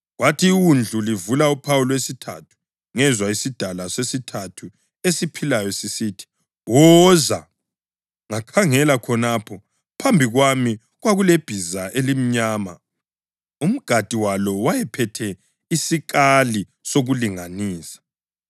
Kwathi iWundlu livula uphawu lwesithathu, ngezwa isidalwa sesithathu esiphilayo sisithi, “Woza!” Ngakhangela, khonapho phambi kwami kwakulebhiza elimnyama! Umgadi walo wayephethe isikali sokulinganisa.